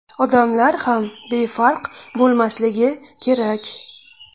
Odamlar ham befarq bo‘lmasligi kerak.